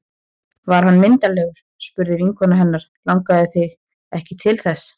Var hann myndarlegur? spurði vinkona hennar Langaði þig ekki til þess?